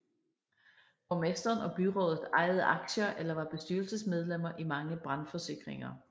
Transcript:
Borgmesteren og byrådet ejede aktier eller var bestyrelsesmedlemmer i mange brandforsikringer